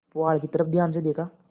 पुआल की तरफ ध्यान से देखा